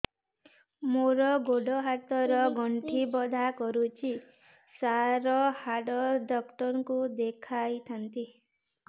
ମୋର ଗୋଡ ହାତ ର ଗଣ୍ଠି ବଥା କରୁଛି ସାର ହାଡ଼ ଡାକ୍ତର ଙ୍କୁ ଦେଖାଇ ଥାନ୍ତି